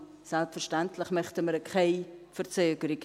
Selbstverständlich wollen wir keine Verzögerung.